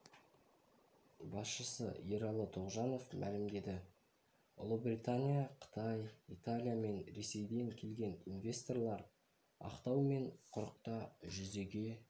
басшысы ералы тоғжанов мәлімдеді ұлыбритания қытай италия мен ресейден келген инвесторлар ақтау мен құрықта жүзеге